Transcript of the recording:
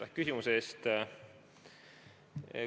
Aitäh küsimuse eest!